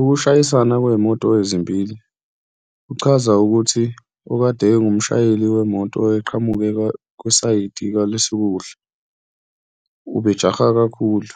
Ukushayisana kwey'moto ezimbili kuchaza ukuthi okade engumshayeli wemoto eqhamuke kwisayithi kwalesokudla ubejaha kakhulu,